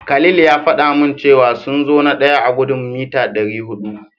Khalil ya faɗa min cewa sun zo na daya a gudun mita dari hudu.